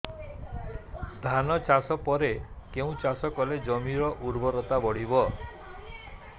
ଧାନ ଚାଷ ପରେ କେଉଁ ଚାଷ କଲେ ଜମିର ଉର୍ବରତା ବଢିବ